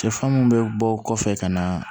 Sɛfan mun bɛ bɔ o kɔfɛ ka na